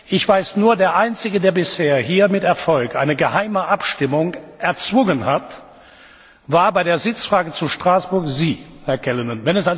Ich weiß nur, der Einzige, der bisher hier mit Erfolg eine geheime Abstimmung erzwungen hat, das waren bei der Sitzfrage zu Straßburg Sie, Herr Callanan.